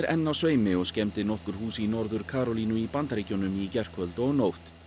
enn á sveimi og skemmdi nokkur hús í Norður Karólínu í Bandaríkjunum í gærkvöld og nótt